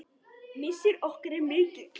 Missir okkar er mikill.